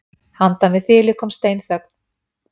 Handan við þilið kom steinþögn.